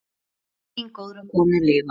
Megi minning góðrar konu lifa.